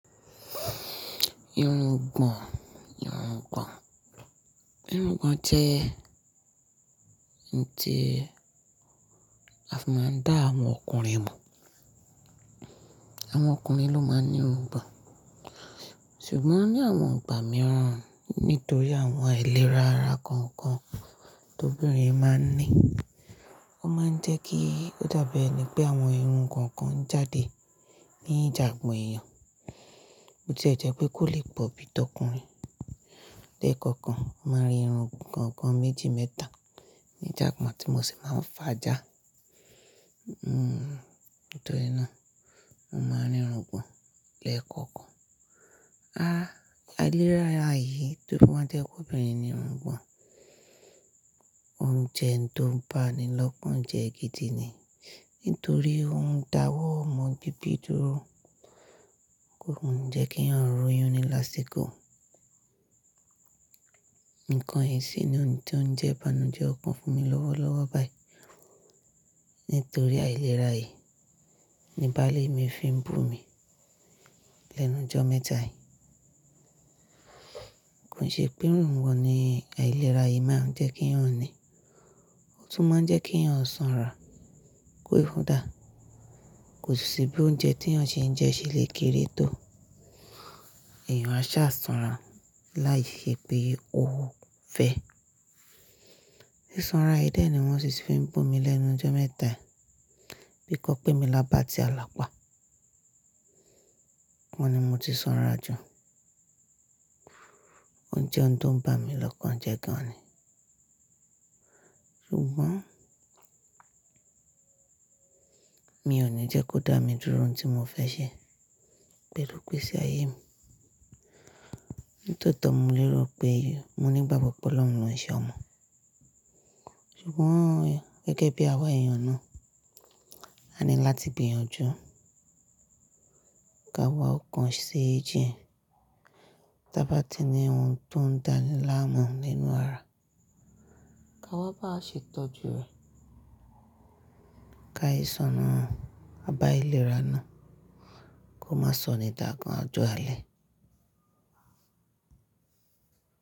Irun gbọ̀n, irun gbọ̀n. Irun gbọ̀n jẹ́ ń ti a fi máa ń dá àwọn ọkùnrin mọ̀. Àwọn ọkùnrin ló máa ń ní irun gbọ̀n. Ṣùgbọ́n ní àwọn ìgbà mìíràn, nítorí àwọn àìlera ara kọ̀ọ̀kan tó obìnrin máa ń ní, ó máa ń jẹ́ kí ó dàbí ẹni pé àwọn irun kan kan jáde ní ìjàbo ẹ̀yàn. Bótí i jẹ́ pé kò lè pọ̀ bí i tọkùnrin. Lékọ̀ọ̀kan máa ń rí irun kankan méjì mẹ́ta ní ìjàbon tí mo ṣi máa ń fà á já. Nítorí ná, mo máa ń ní irun gbọ̀n lẹ́ẹ̀kọ̀kan. Aìlera yìí to fi wa jẹ́ pé obìnrin ní irun gbọ̀n, ò jẹ́ oun tó ń bá ni lọ́kàn jẹ́ gidi ni. Nítorí ò dáwọ́ ọmọ bíbi dúró. Ko ni jẹ́ kí eeyan ro yún ní lásìkò. Ǹkan sì ní òun tí ó ń jẹ́ banújẹ́ ọ̀kan fún mi lọ́wọ́lọ́wọ́ báyìí. Nítorí àìlera yìí ni baálé mi fi ń bu mi lẹ́nu jọ́ mẹ́ta yìí. Kò ṣe pé irun gbọ̀n ni àìlera yìí máa ń jẹ́ kí a ó ní. Ó tún máa ń jẹ́ kí a ò sanra, kó dáa. Kò sì bí oúnjẹ tí a ò ṣe ń jẹ ṣé lè kere tó. Èèyàn á sá sanra láì ṣe pé ó fẹ́. Ṣíṣanra yìí dẹ̀ ni wọ́n sì ti fi ń bu mi lẹ́nu jọ́ mẹ́ta yìí. Bí kọ́ pé mi lábà tí alapa. Wọ́n ni mo ti sanra jù. Ò jẹ́ oun tó ń bá mi lọ́kàn jẹ́ gan ni. Ṣùgbọ́n mi ò ní jẹ́ kó dá mi dúró ní tí mo fẹ́ ṣe pẹ̀lú igbe ṣe ayé mi. Nítòótọ́ mo lérò pé mo ní gbagbon pe ọlọ́run yo ṣe ọmọ. Ṣùgbọ́n gẹ́gẹ́ bí àwa èèyàn náà, á ní láti gbìyànjú. Ka wá ọkàn ṣe jí. Tí a bá ti ní ohun tó ń dáni láàmú nínú ara, ka wá bá ṣe tọ́jú rẹ̀. Ka ìṣọ́na àbá àìlera náà kó má sọnì dàgan ojo alẹ́.